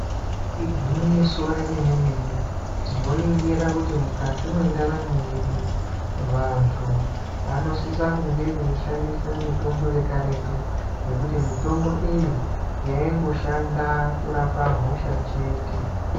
Igwinyiso remene-mene, tinoningira kuti mukati mwendaramo yedu vantu vanosisa kunge veishandisa mitombo yekaretu ngekuti mitombo iyi yaingoshanda kurapa hosha chete.